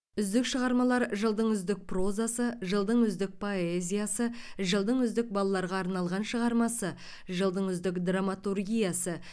үздік шығармалар жылдың үздік прозасы жылдың үздік поэзиясы жылдың үздік балаларға арналған шығармасы жылдың үздік драматургиясы